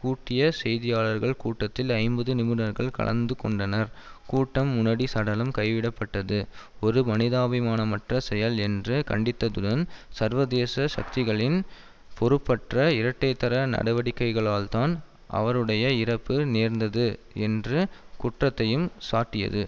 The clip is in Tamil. கூட்டிய செய்தியாளர்கள் கூட்டத்தில் ஐம்பது நிருபர்கள் கலந்து கொண்டனர் கூட்டம் முனடி சடலம் கைவிடப்பட்டது ஒரு மனிதாபிமானமற்ற செயல் என்று கண்டித்ததுடன் சர்வதேச சக்திகளின் பொறுப்பற்ற இரட்டைத்தர நடவடிக்கைகளால்தான் அவருடைய இறப்பு நேர்ந்தது என்ற குற்றத்தையும் சாட்டியது